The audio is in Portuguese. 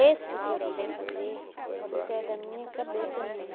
Isso que eu sei fazer, isso é da minha cabeça mesmo.